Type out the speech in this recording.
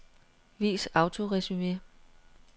Vis autoresumé.